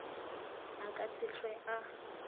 a ka se hlwe a